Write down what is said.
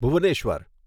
Bhubaneswar